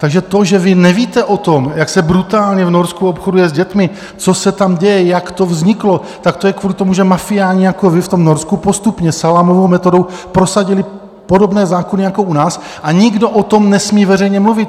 Takže to, že vy nevíte o tom, jak se brutálně v Norsku obchoduje s dětmi, co se tam děje, jak to vzniklo, tak to je kvůli tomu, že mafiáni jako vy v tom Norsku postupně salámovou metodou prosadili podobné zákony jako u nás a nikdo o tom nesmí veřejně mluvit.